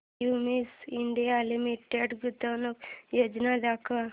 Cummins India Limited गुंतवणूक योजना दाखव